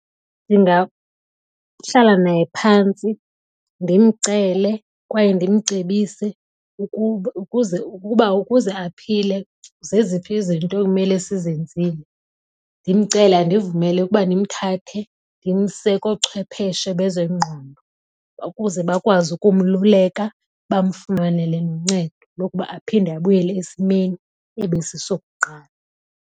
Ndingahlala naye phantsi ndimcele kwaye ndimcebise ukuba ukuze ukuba ukuze aphile zeziphi izinto ekumele sizenzile. Ndimcele andivumele ukuba ndimthathe ndimse koochwepheshe bezengqondo ukuze bakwazi ukumluleka bamfumanele noncedo lokuba aphinde abuyele esimeni ebesisokuqala.